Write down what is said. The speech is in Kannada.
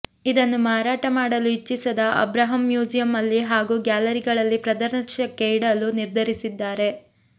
ಇದನ್ನು ಮಾರಾಟ ಮಾಡಲು ಇಚ್ಛಿಸದ ಅಬ್ರಹಂ ಮ್ಯೂಸಿಯಂ ಹಾಗೂ ಗ್ಯಾಲರಿಗಳಲ್ಲಿ ಪ್ರದರ್ಶನಕ್ಕೆ ಇಡಲು ನಿರ್ಧರಿಸಿದ್ದಾರೆ